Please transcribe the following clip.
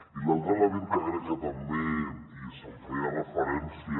i l’altre element que crec que també s’hi feia referència